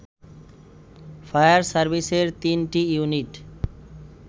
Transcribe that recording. fire সার্ভিসের ৩টি unit